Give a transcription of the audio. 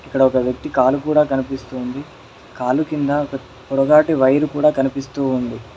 ఇక్కడ ఒక వ్యక్తి కాలు కూడా కనిపిస్తూ ఉంది కాలు కింద ఒక పొడగాటి వైర్ కూడా కనిపిస్తూ ఉంది.